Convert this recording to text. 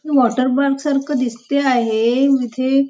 हे water park सारखं दिसते आहे इथे --